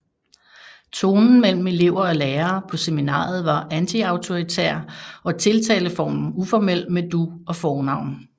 Tonen mellem elever og lærere på seminariet var antiautoritær og tiltaleformen uformel med du og fornavn